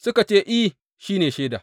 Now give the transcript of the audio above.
Suka ce, I, shi ne shaida.